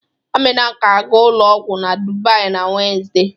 Amina ga-aga ụlọ ọgwọ na Dubai na Wenezde.